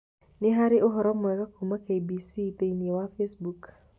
Nĩ harĩ ũhoro mwerũ kuuma K.B.C. thĩinĩ wa Facebook?